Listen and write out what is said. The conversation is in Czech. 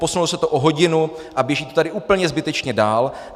Posunulo se to o hodinu a běží to tady úplně zbytečně dál.